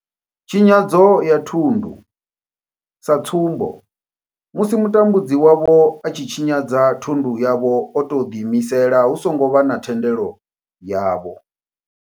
Tshinyadzo ya thundu sa tsumbo, musi mutambudzi wavho a tshi tshinyadza thundu yavho o tou ḓi imisela hu songo vha na thendelo yavho.